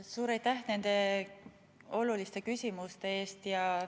Suur aitäh nende oluliste küsimuste eest!